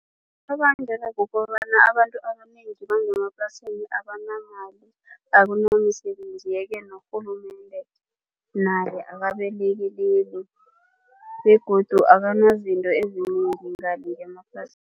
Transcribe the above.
Kubangelwa kukobana abantu abanengi bangemaplasini abanamali, akunamisebenzi yeke nokurhulumende naye akabalekeleli begodu abanazinto ezinengi ngale ngemaplasini.